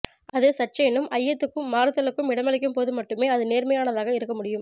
அது சற்றேனும் ஐயத்துக்கும் மாறுதலுக்கும் இடமளிக்கும்போது மட்டுமே அது நேர்மையானதாக இருக்க முடியும்